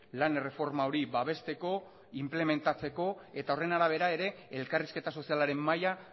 lan erreforma hori babesteko inplementatzeko eta horren arabera ere elkarrizketa sozialaren mahaia